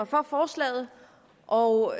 for forslagene og